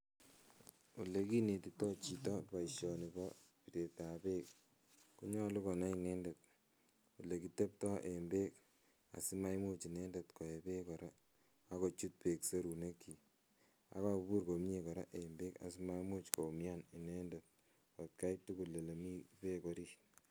Olekinetito chito boishoni bo biretab beek konyolu konai inendet elekitebto en beek asimaimuch inendet koe beek kora ak kochut beek serunekyik, akobur komnye kora en beek asimaimuch koumian inendet atkai tukul elee mii beek orit.